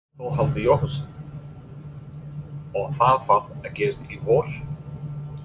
Þórhallur Jósefsson: Og það þarf að gerast í vor?